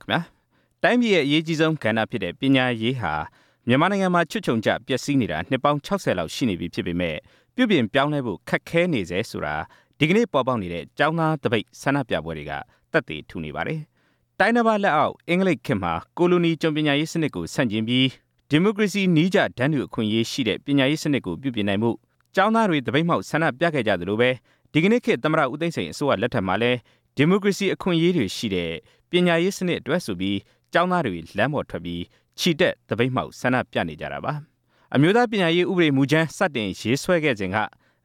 ခင်ဗျား တိုင်းပြည်ရဲ့အရေးကြီးဆုံးဖြစ်တဲ့ ပညာရေးဟာ မြန်မာနိုင်ငံမှာ ချွတ်ခြုံကျပျက်စီးနေ တာ နှစ်ပေါင်း ၆ဝ လောက်ရှိနေပြီဖြစ်ပေမယ့် ပြုပြင်ပြောင်းလဲဖို့ ခက်ခဲနေဆဲဆိုတာ ဒီကနေ့ပေါ်ပေါက်နေ တဲ့ ကျောင်းသားသပိတ် ဆန္ဒပြပွဲတွေက သက်သေထူနေပါတယ်။ တိုင်းတပါးလက်အောက် အင်္ဂလိပ်ခေတ်မှာ ကိုလိုနီ ကျွန်ပညာရေးစနစ်ကိုဆန့်ကျင်ပြီး ဒီမိုကရေစီနည်းကျ တန်းတူအခွင့်အရေးရှိတဲ့ ပညာရေးစနစ်ကိုပြုပြင်နိုင်ဖို့ ကျောင်းသားတွေ သပိတ်မှောက်ဆန္ဒပြခဲ့ကြသလိုပဲ ဒီကနေ့ခေတ် သမ္မတ ဦးသိန်းစိန် အစိုးရလက်ထက်မှာလည်း ဒီမိုကရေစီအခွင့်အရေးတွေရှိတဲ့ ပညာရေး စနစ်အတွက်ဆိုပြီး ကျောင်းသားတွေ လမ်းပေါ်ထွက်ပြီး ချီတက်သပိတ်မှောက် ဆန္ဒပြနေကြတာပါ။ အမျိုးသားပညာရေးဥပဒေမူကြမ်း စတင်ရေးဆွဲခဲ့စဉ်က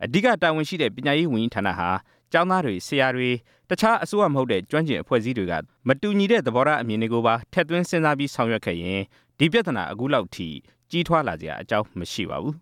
အဓိကတာဝန်ရှိတဲ့ ပညာရေးဝန်ကြီးဌါနဟာ ကျောင်း သားတွေ၊ ဆရာတွေ တခြားအစိုးရမဟုတ်တဲ့ ကျွမ်းကျင်အဖွဲ့အစည်းတွေက မတူညီတဲ့ သဘောထားအမြင်တွေ ကိုပါ ထည့်သွင်းစဉ်းစားပြီး ဆောင်ရွက်ခဲ့ရင် ဒီပြဿနာအခုလောက်အထိ ကြီးထွားလာစရာအကြောင်းမရှိပါဘူး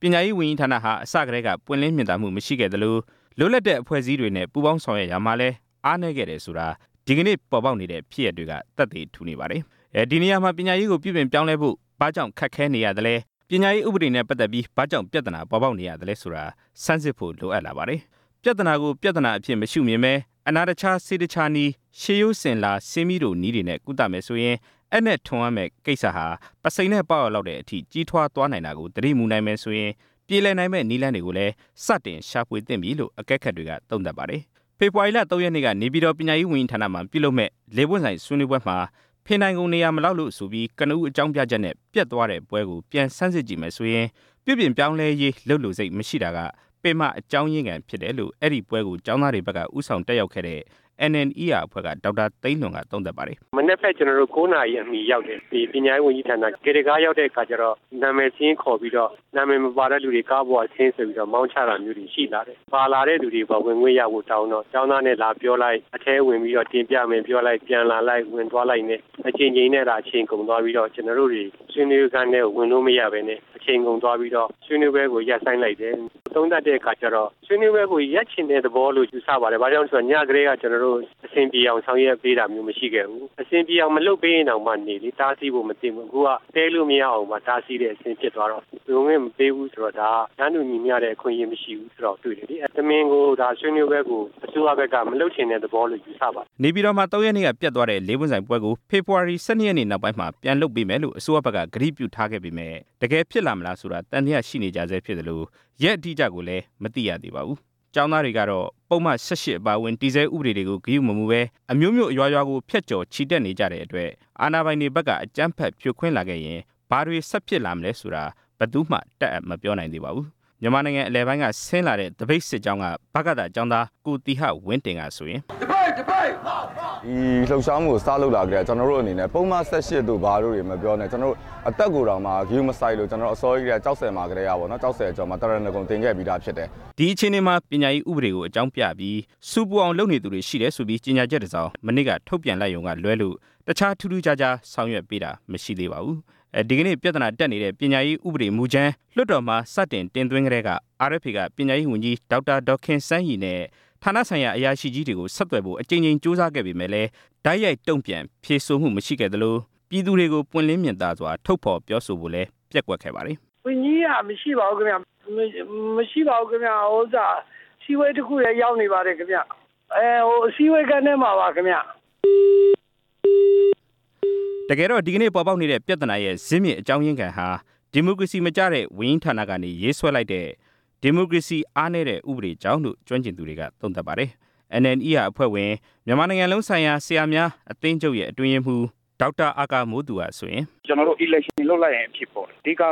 ၊ ပညာရေးဝန်ကြီးဌါနဟာ အစကတည်းက ပွင့်လင်းမြင်သာမှု မရှိခဲ့သလို လွတ်လပ်တဲ့အဖွဲ့အစည်းတွေနဲ့ ပူပေါင်းဆောင်ရွက်ရာမှာလည်း အားနည်းခဲ့တယ်ဆိုတာ ဒီကနေ့ပေါ်ပေါက်နေတဲ့ ဖြစ်ရပ်တွေက သက်သေ ထူနေပါတယ်။ ဒီနေရာမှာ ပညာရေးကိုပြုပြင်ပြောင်းလဲဖို့ ဘာကြောင့်ခက်ခဲနေရသလဲ၊ ပညာရေးဥပဒေနဲ့ပတ်သက်ပြီး ဘာကြောင့်ပြဿနာပေါ်ပေါက်နေရသလဲဆိုတာ ဆန်းစစ်ဖို့လိုအပ်လာပါတယ်၊ ပြဿနာကိုပြဿနာအဖြစ်မရှုမြင်ပဲ အနာတခြားဆေးတခြားနည်း ရှေးရိုးစဉ်လာဆေးမှီးတိုနည်းတွေနဲ့ ကုသမယ်ဆိုရင် အပ်နဲ့ထွင်ရမယ့်ကိစ္စဟာ ပုဆိန်နဲ့ပေါက်ရလောက်တဲ့အထိ ကြီးထွားသွားရမှာကို သတိမူနိုင်မယ်ဆိုရင် ပြေလည်နိုင်မယ့်နည်းလမ်းတွေ ကိုလည်း သတင်ရှာဖွေသင့်ပြီးလို့ အကဲခတ်တွေက သုံးသပ်ပါတယ်။ ဖေဖော်ဝါရီလ ၃ ရက်နေ့က နေပြည်တော် ပညာရေးဝန်ကြီးဌါနမှာပြုလုပ်မယ့် ၄ ပွင့်ဆိုင်ဆွေးနွေးပွဲမှာ ဖင်ထိုင်ခုံနေရာမလောက်လို့ဆိုပြီး ကနဦးအကြောင်းပြချက်နဲ့ ပျက်သွားတဲ့ပွဲကို ပြန်ဆန်းစစ်ကြည့်မယ် ဆိုရင် ပြုပြင်ပြောင်းလဲရေး လုပ်လိုစိတ်မရှိတာက ပင်မအကြောင်းရင်းခံဖြစ်တယ်လို့ အဲ့ဒီပွဲကို ကျောင်း သားတွေဘက်က ဦးဆောင်တက်ရောက်ခဲ့တဲ့ NNER အဖွဲ့က ဒေါက်တာ သိန်းလွင်က သုံးသပ်ပါတယ်။ မနက်ဖက် ကျနော်တို့ ၉ နာရီအမီရောက်တယ်၊ ပညာရေးဝန်ကြီးဌါန လှေ ကားရောက်တဲ့အခါကျတော့ နာမည်စာရင်းခေါ်ပြီးတော့ နာမည်မပါတဲ့သူတွေ ကားပေါ်ကဆင်း ဆိုပြီးတော့ မောင်းချတာမျိုးတွေရှိလာတယ်၊ ပါလာတဲ့လူတွေ ဝင်ခွင့်ရဖို့တောင်းတော့ ကျောင်းသားနဲ့လာပြော လိုက် အထဲဝင်ပြီးတော့ တင်ပြဝင်ပြောလိုက်၊ ပြန်လာလိုက် ဝင်သွားလိုနဲ့ အကြိမ်ကြိမ်နဲ့ အချိန်ကုန်သွားပြီးတော့ ကျနော်တို့တွေ ဆွေးနွေးခန်းထဲကို ဝင်လို့မရပဲနဲ့ အချိန်ကုန်သွားပြီးတော့ ဆွေးနွေးပွဲကိုရပ်ဆိုင်းလိုက်တယ်၊ သုံးသပ်တဲ့အခါကျတော့ ဆွေးနွေးပွဲကို ရပ်ချင်တဲ့သဘောလို့ ယူဆပါတယ်၊ ဘာကြောင့်လည်းဆိုတော့ ညကတည်း က ကျနော်တို့ကို အဆင်ပြေအောင် ဆောင်ရွက်ပေးတာမျိုးမရှိခဲ့ဘူး၊ အဆင်ပြေအောင် မလုပ်ပေးရင်တောင် မှနေလေ တားဆီးဖို့မသင့်ဘူး၊ အခုက တည်းလို့မရအောင်ပါ တားဆီးတဲ့အဆင့်ဖြစ်သွားတော့ ဝင်ခွင့်မပေးဘူး ဆိုတော့ ဒါကတန်းတူညီမျှတဲ့ အခွင့်အရေးမရှိဘူးဆိုတာကို တွေ့တယ်လေ၊ တမင်ကို ဒါဆွေးနွေးပွဲကို အစိုးရ ဘက်က မလုပ်ချင်တဲ့သဘောလို့ ယူဆပါတယ်။ နေပြည်တော်မှာ ၃ ရက်နေ့ကပျက်သွားတဲ့ ၄ ပွင့်ဆိုင်ပွဲကို ဖေဖော်ဝါရီ ၁၂ ရက်နေ့နောက်ပိုင်းမှာ ပြန်လုပ်ပေး မယ်လို့ အစိုးရဘက်က ကတိပြုထားခဲ့ပေမယ့် တကယ်ဖြစ်လာမလားဆိုတာ သံသယရှိနေကြဆဲဖြစ်သလို ရက်အတိအကျကိုလည်း မသိရသေးပါဘူး။ ကျောင်းသားတွေကတော့ ပုဒ်မ ၁၈ အပါအဝင် တည်ဆဲဥပဒေတွေကိုဂရုမမူပဲ အမြို့မြို့အရွာရွာကို ဖြတ်ကျော် ချီတက်နေကြတဲ့အတွက် အာဏာပိုင်တွေဘက်က အကြမ်းဖက်ဖြိုခွင်းလာခဲ့ရင် ဘာတွေဆက်ဖြစ်လာမလဲဆိုတာ ဘယ်သူ့မှတပ်အပ်မပြောနိုင်သေးပါဘူး။ မြန်မာနိုင်ငံအလယ်ပိုင်းကဆင်းလာတဲ့ ဗကသ ကျောင်းသား ကိုသီဟဝင်းတင်ကဆိုရင် ဒီလှုပ်ရှားမှုကိုစလုပ်တာ ကျနော်တို့အနေနဲ့ ပုဒ်မ ၁၈ တို့ဘာတို့တွေ မပြောနဲ့ ကျနော်တို့ အသက်ကိုတောင်မှဂရုမစိုက်လို့ ကျနော်တို့ အစောကြီးကတည်းက ကျောက်ဆည်မှာကတည်း ကပေါ့နော်၊ ကျောက်ဆည်အကျော်မှာ သရဏဂုံတင်ခဲ့ပြီးသားဖြစ်တယ်။ ဒီအခြေအနေမှာ ပညာရေးဥပဒေကိုအကြောင်းပြပြီး ဆူပူအောင်လုပ်နေသူတွေရှိတယ်ဆိုပြီး ကြေညာချက် တစ်စောင် မနေ့ကထုတ်ပြန်လိုက်ရုံကလွဲလို့ တခြားထူးထူးခြားခြား ဆောင်ရွက်ပေးတာ မရှိသေးပါဘူး၊ ဒီကနေ့ ပြဿနာတက်နေတဲ့ ပညာရေးဥပဒေမူကြမ်း လွှတ်တော်မှာ စတင်တင်သွင်းကတည်းက RFA က ပညာရေးဝန်ကြီး ဒေါက်တာ ဒေါ်ခင်စန်းရီနဲ့ ဌါနဆိုင်ရာ အရာရှိကြီးတွေကို ဆက်သွယ်ဖို့ အကြိမ်ကြိမ်ကြိုးစား ခဲ့ပေမယ့်လည်း တိုက်ရိုက်တုန့်ပြန် ဖြေဆိုမှုမရှိခဲ့သလို ပြည်သူတွေကို ပွင့်လင်းမြင်သာစွာ ထုတ်ဖော်ပြောဆိုဖို့ လည်း ပျက်ကွက်ခဲ့ပါတယ်။ "ဝန်ကြီးက မရှိပါဘူးခင်ဗျ၊ မရှိပါဘူး အစည်းအဝေးတစ်ခုထဲ ရောက်နေပါတယ်ဗျ၊ အဲဟို အစည်းအဝေးခန်းထဲ မှာပါခင်ဗျ" တကယ်တော့ ဒီကနေ့ပေါ်ပေါက်နေတဲ့ ဇစ်မြစ်အကြောင်းရင်းခံဟာ ဒီမိုကရေစီမကျတဲ့ ဝန်ကြီးဌါနကနေ ရေး ဆွဲလိုက်တဲ့ ဒီမိုကရေစီအားနည်းတဲ့ဥပဒေတွေကြောင့်လို့ ကျွမ်းကျင်သူတွေက သုံးသပ်ပါတယ်၊ NNER အဖွဲ့ဝင် မြန်မာနိုင်ငံလုံးဆိုင်ရာ ဆရာများအသင်းချုပ်ရဲ့ အတွင်းရေးမှူး ဒေါက်တာ အာကာသူကဆိုရင် ကျနော်တို့ ရွေးကောက်ပွဲလုပ်လိုက်ရင် ဖြေပေါ်တယ်၊ အဓိကက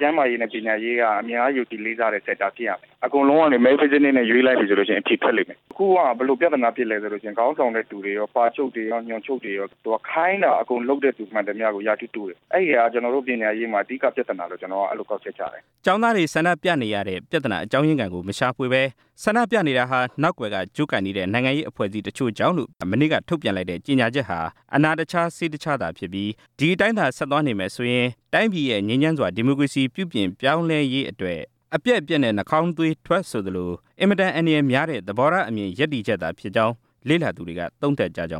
ကျန်းမာရေးနဲ့ ပညာရေးက အများယုံကြည်လေးစားတဲ့ဟာဖြစ်ရမယ်၊ အကုန်လုံးက ရွေးလိုက်မယ်ဆိုလို့ရှိရင် အဖြေထွက်လိမ့်မယ်၊ အခုက ဘယ်လိုပြဿနာဖြစ်လဲဆိုရင် ခေါင်းဆောင်တဲ့သူတွေက ပါချုပ်တွေရော၊ ညွှန်ချုပ်တွေရော ခိုင်းတာအကုန်လုပ်တဲ့သူတွေဟာ ရာထူးတိုးတယ်၊ အဲ့ဒီဟာက ကျနော်တို့ပညာရေးမှာ အဓိကပြဿနာလို့ ကျနော်ကအဲ့လိုကောက်ချက်ချတယ်။ ကျောင်းသားတွေဆန္ဒပြနေရတဲ့ ပြဿနာအကြောင်းရင်းခံကို မရှာဖွေပဲ ဆန္ဒပြနေတာဟာ နောက်ကွယ်ကကြိုးကိုင်နေ တဲ့ နိုင်ငံရေးအဖွဲ့တချို့ကြောင့်လို့ မနေ့ကထုတ်ပြန်လိုက်တဲ့ ကြေညာချက်ဟာ အနာတခြားဆေးတခြားသာဖြစ်ပြီး ဒီအတိုင်းသာဆက်သွားနေမယ်ဆိုရင် တိုင်းပြည်ရဲ့ငြိမ်းချမ်းစွာ ဒီမိုကရေစီ ပြုပြင်ပြောင်းလဲရေးအတွက် အပျက် အပျက်နဲ့ နှာခေါင်းသွေးထွက်ဆိုသလို အင်မတန် အန္တရာယ်များတဲ့ သဘောထားအမြင် ရပ်တည်ချက် သာဖြစ်ကြောင်း လေ့လာသူတွေက သုံးသပ်ကြကြ